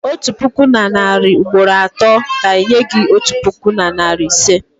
otu puku na narị ugboro atọ ga-enye gị otu puku na narị ise.